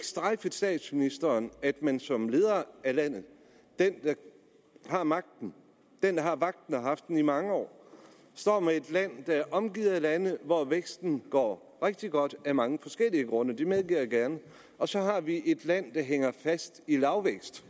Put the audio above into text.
strejfet statsministeren at man som leder af landet den der har magten den der har vagten og har haft den i mange år står med et land der er omgivet af lande hvor væksten går rigtig godt af mange forskellige grunde det medgiver jeg gerne og så har vi et land der hænger fast i lavvækst